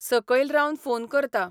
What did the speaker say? सकयल रावन फोन करता.